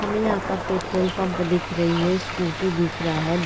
हमे यहाँ पर पेट्रोल पंप दिख रही है स्कूटी दिख रहा है।